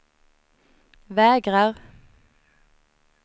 vägrar